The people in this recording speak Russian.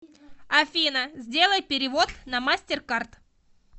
афина сделай перевод на мастеркард